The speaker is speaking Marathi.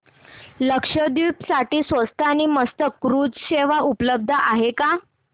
लक्षद्वीप साठी स्वस्त आणि मस्त क्रुझ सेवा उपलब्ध आहे का